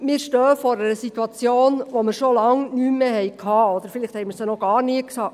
Wir stehen vor einer Situation, die wir schon lange nicht mehr hatten, oder die wir vielleicht noch gar nie hatten.